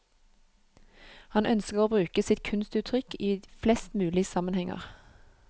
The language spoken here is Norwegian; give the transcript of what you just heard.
Han ønsker å bruke sitt kunstuttrykk i flest mulig sammenhenger.